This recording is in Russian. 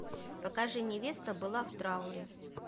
покажи невеста была в трауре